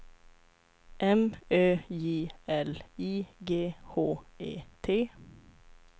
M Ö J L I G H E T